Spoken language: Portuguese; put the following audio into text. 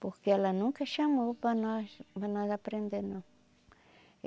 Porque ela nunca chamou para nós, para nós aprender não